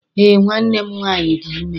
Eé, nwanne m nwaanyị dị ime.